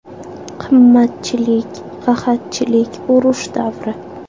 Qimmatchilik, qahatchilik, urush davri.